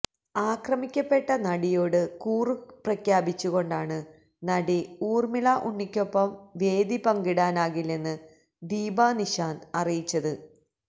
ആക്രമിക്കപ്പെട്ട നടിയോട് കൂറുപ്രഖ്യാപിച്ചുകൊണ്ടാണ് നടി ഊര്മിളാ ഉണ്ണിക്കൊപ്പം വേദിപങ്കിടാനാകില്ലെന്ന് ദീപാ നിശാന്ത് അറിയിച്ചത്